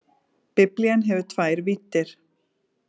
Biblían hefur tvær víddir.